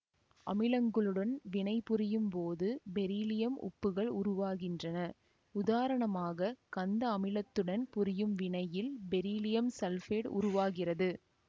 அமிலங்களுடன் வினைபுரியும் போது பெரிலியம் உப்புகள் உருவாகின்றன உதாரணமாக கந்த அமிலத்துடன் புரியும் வினையில் பெரிலியம் சல்பேட்டு உருவாகிறது